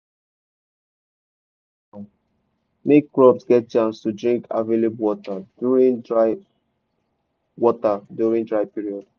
remove all di weeds now make crops get chance to drink available water during dry water during dry period.